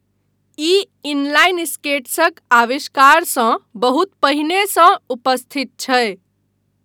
ई inline स्केट्सक आविष्कारसँ बहुत पहिनेसँ उपस्थित छै।